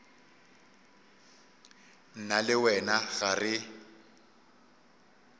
nna le wena ga re